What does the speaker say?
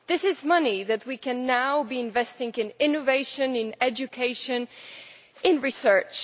This is money that we could now be investing in innovation, in education and in research.